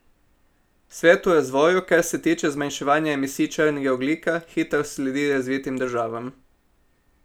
Svet v razvoju, kar se tiče zmanjševanja emisij črnega ogljika, hitro sledi razvitim državam.